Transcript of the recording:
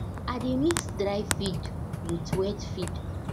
i dey mix dry feed with wet feed